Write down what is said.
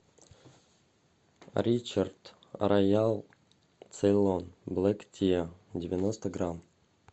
ричард роял цейлон блек тиа девяносто грамм